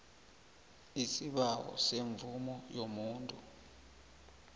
isibawo semvumo yomuntu